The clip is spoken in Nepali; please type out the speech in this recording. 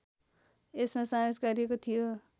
यसमा समावेश गरिएको थियो